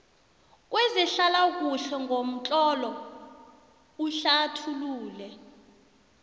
kwezehlalakuhle ngomtlolo uhlathulule